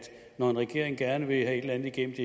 når en regering gerne vil have et eller andet igennem